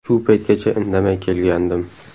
Shu paytgacha indamay kelgandim.